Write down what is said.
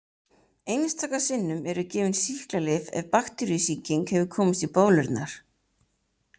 Einstaka sinnum eru gefin sýklalyf ef bakteríusýking hefur komist í bólurnar.